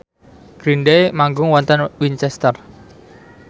Green Day manggung wonten Winchester